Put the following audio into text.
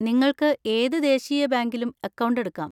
നിങ്ങൾക്ക് ഏത് ദേശീയ ബാങ്കിലും അക്കൗണ്ട് എടുക്കാം.